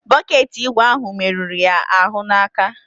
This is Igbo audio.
Bọket ígwè ahụ merụrụ ya ahụ n'aka.